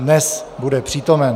Dnes bude přítomen.